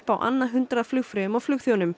á annað hundrað flugfreyjum og